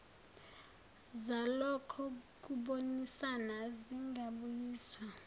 zalokho kubonisana zingabuyiswa